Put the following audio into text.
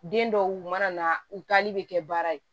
Den dɔw mana na u taali bɛ kɛ baara ye